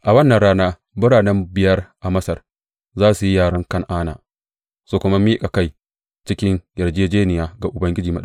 A wannan rana birane biyar a Masar za su yi yaren Kan’ana su kuma miƙa kai cikin yarjejjeniya ga Ubangiji Maɗaukaki.